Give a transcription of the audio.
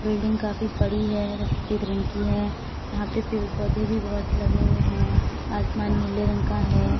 Building काफी बड़ी है सफेद रंग की है यहां पर पेड़-पौधे भी बोहोत लगे हुए हैं आसमान नीले रंग का है।